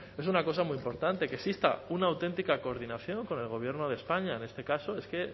es una cosa muy importante que exista una auténtica coordinación con el gobierno de españa en este caso es que